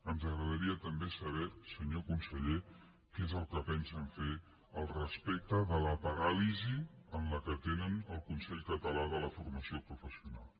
ens agradaria també saber senyor conseller què és el que pensen fer al respecte de la paràlisi en què tenen el consell català de formació professional